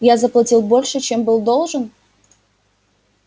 я заплатил больше чем был должен